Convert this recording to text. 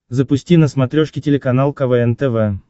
запусти на смотрешке телеканал квн тв